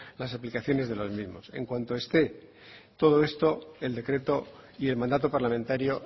las aplicaciones de los mismos en cuanto esté todo esto el decreto y el mandato parlamentario